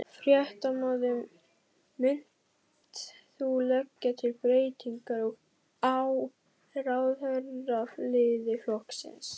Fréttamaður: Munt þú leggja til breytingar á ráðherraliði flokksins?